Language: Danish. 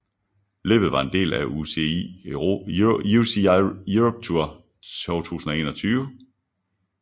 Løbet var en del af UCI Europe Tour 2021